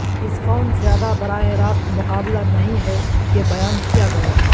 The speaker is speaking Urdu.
اس فون زیادہ براہ راست مقابلہ نہیں ہے کہ بیان کیا گیا ہے